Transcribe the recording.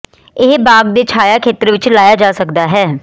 ਇਹ ਬਾਗ ਦੇ ਛਾਇਆ ਖੇਤਰ ਵਿੱਚ ਲਾਇਆ ਜਾ ਸਕਦਾ ਹੈ